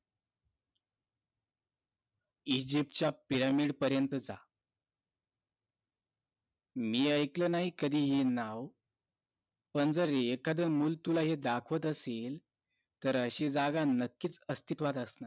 Egypt च्या pyramid पर्यंतचा मी ऐकलं नाही कधी हे नाव पण जर एखाद मूल तुला हे दाखवत असेल तर अशी जागा नक्कीच अस्तित्वात असणार